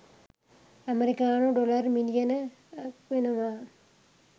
ඇමරිකානු ඩොලර් මිලියන .ක් වෙනවා.